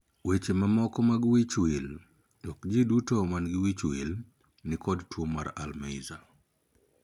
Weche mamoko mag wich wil. Ok jii duto man gi wich wil ni kod tuo mar 'Alzheimer'.